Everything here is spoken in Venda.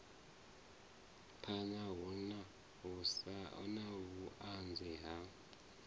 phana hu na vhuanzi ha